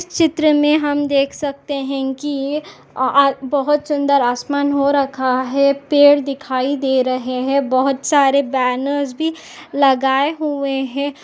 इस चित्र मे हम देख सकते है कि अ अ बहुत सुंदर आसमान हो रखा है पेड़ दिखाई दे रहे है बहुत सारे बैनर्स भी लगाए हुए है।